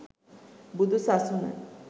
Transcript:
බුදු සසුන